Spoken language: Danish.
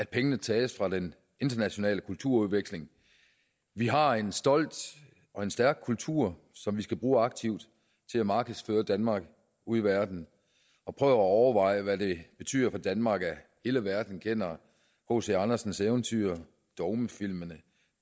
pengene tages fra den internationale kulturudveksling vi har en stolt og en stærk kultur som vi skal bruge aktivt til at markedsføre danmark ude i verden prøv at overveje hvad det betyder for danmark at hele verden kender hc andersens eventyr dogmefilmene